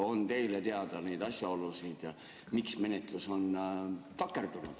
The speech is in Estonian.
On teile teada neid asjaolusid, miks menetlus on takerdunud?